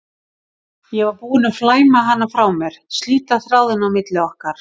Ég var búin að flæma hana frá mér, slíta þráðinn á milli okkar.